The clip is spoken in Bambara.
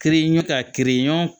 Kiri ɲɔ ka kirin